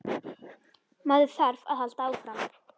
Maður þarf að halda áfram.